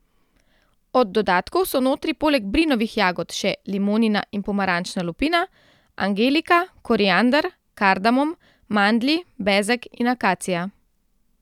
Od dodatkov so notri poleg brinovih jagod še limonina in pomarančna lupina, angelika, koriander, kardamom, mandlji, bezeg in akacija.